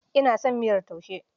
Ina son mayar taushe.